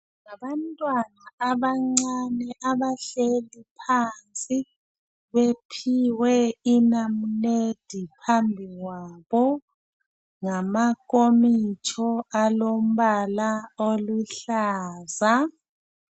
Abantwana abancane abahlezi phansi bephiwe inamunede phambi kwabo lamankomitsho alombala oluhlaza.